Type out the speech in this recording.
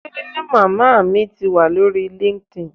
Ṣe màmá mi ti wa lórí linkedin?